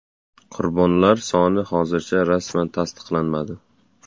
Qurbonlar soni hozircha rasman tasdiqlanmadi.